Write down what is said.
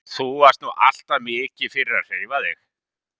Þú varst nú alltaf mikið fyrir að hreyfa þig?